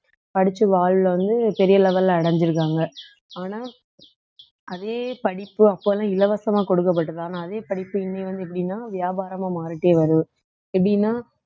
படிச்சு வாழ்வுல வந்து பெரிய level ல அடைஞ்சிருக்காங்க ஆனா அதே படிப்பு அப்பல்லாம் இலவசமா கொடுக்கப்பட்டது ஆனா அதே படிப்பு இன்னும் வந்து எப்படின்னா வியாபாரமா மாறிட்டே வருது எப்படின்னா